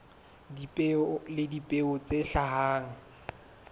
dipeo le dipeo tse hlahang